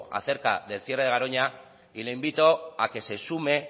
acerca del cierre de garoña y le invito a que se sume